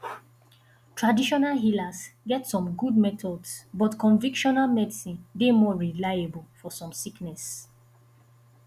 traditional healers get some good methods but convictional medicine dey more reliable for some sickness